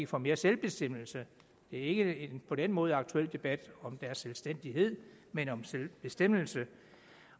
få mere selvbestemmelse det er ikke på den måde en aktuel debat om deres selvstændighed men om selvbestemmelse